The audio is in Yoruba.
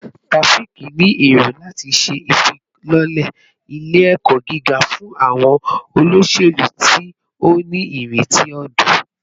Taofiq ni ero lati ṣe ifilọlẹ ile-ẹkọ giga fun awọn oloselu ti o nireti ọdọ